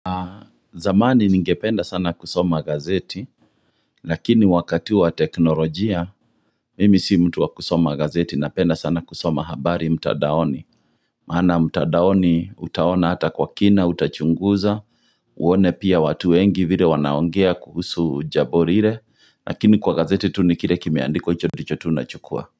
Zamani ningependa sana kusoma gazeti lakini wakati wa teknolojia mimi si mtu wa kusoma gazeti napenda sana kusoma habari mtandaoni maana mtandaoni utaona hata kwa kina utachunguza uone pia watu wengi vile wanaongea kuhusu jambo lile lakini kwa gazeti tu ni kile kimeandikwa hicho ndicho tu nachukua.